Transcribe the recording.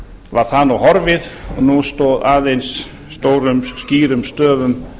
var það nú horfið og nú stóð aðeins stórum skýrum stöfum